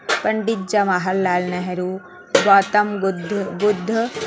Pandit Jawahar Lal Nehru Gautam Buddha Buddha--